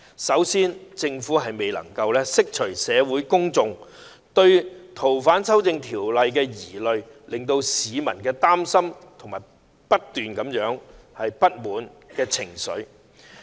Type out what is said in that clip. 首先政府未能釋除社會公眾對《逃犯條例》修訂的疑慮，令市民擔心和持續懷有不滿的情緒。